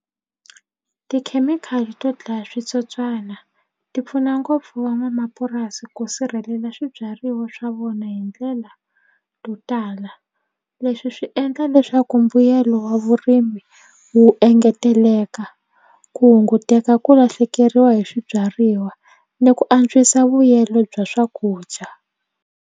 Tikhemikhali to dlaya switsotswana ti pfuna ngopfu van'wamapurasi ku sirhelela swibyariwa swa vona hi ndlela to tala leswi swi endla leswaku mbuyelo wa vurimi wu engeteleka ku hunguteka ku lahlekeriwa hi swibyariwa ni ku antswisa vuyelo bya swakudya.